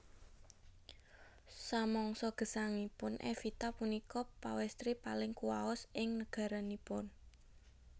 Samangsa gesangipun Evita punika pawèstri paling kuwaos ing nagarinipun